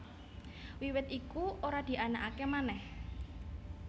Wiwit iku ora dianakaké manèh